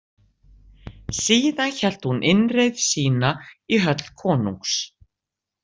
Síðan hélt hún innreið sína í höll konungs.